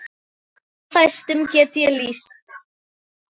En fæstum get ég lýst.